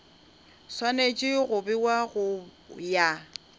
swanetše go bewa go ya